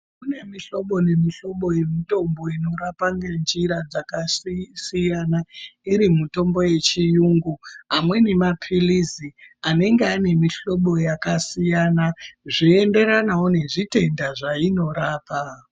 Kune mihlobo nemihlobo yemitombo inorapa ngenjira dzakasiyana iri mitombo yechiyungu, amweni mapilizi anenge ane mihlobo yakasiyana zveienderanavo nezvitendaa zvainorapaa.